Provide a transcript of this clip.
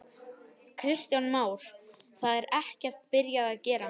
Kristján Már: Það er ekkert byrjað að gera?